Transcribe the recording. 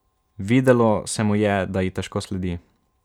Videlo se mu je, da ji težko sledi.